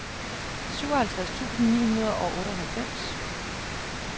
syvoghalvtreds tusind ni hundrede og otteoghalvfems